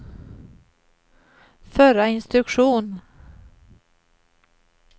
förra instruktion